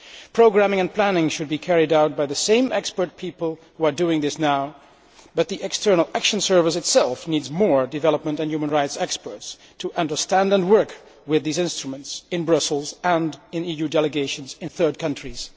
Programming and planning should be carried out by the same expert people who are doing this now, but the External Action Service itself needs more development and human rights experts to understand and work with these instruments in Brussels and in EU delegations in third countries.